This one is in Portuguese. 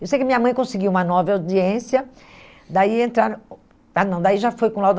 Eu sei que minha mãe conseguiu uma nova audiência, daí entraram, ah não, daí já foi com o Laudo.